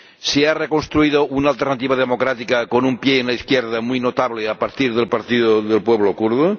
se ha reconstruido una alternativa democrática ―con un pie en la izquierda muy notable a partir del partido del pueblo kurdo―.